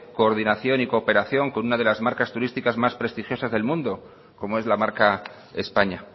coordinación y cooperación con una de las marcas turísticas más prestigiosas del mundo como es la marca españa